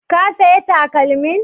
Ka saya takalmin?